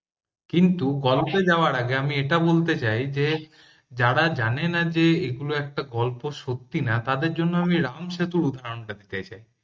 কিন্তু গল্পে যাওয়ার আগে আমি এটা বলতে চাই যে যারা জানে না যে এগুলো একটা গল্প সত্যি না তাদের জন্য আমি রাম সেতুর উদাহরণটা দিতে চাই